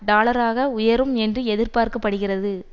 டாலராக உயரும் என்று எதிர்பார்க்க படுகிறது